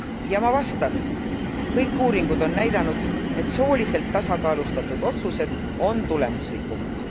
Ja ma vastan kõik uuringud on näidanud, et sooliselt tasakaalustatud otsused on tulemuslikumad.